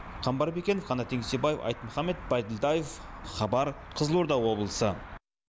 қамбар бекенов қанат еңсебаев айтмұхамбет байділдаев хабар қызылорда облысы